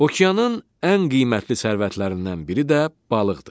Okeanın ən qiymətli sərvətlərindən biri də balıqdır.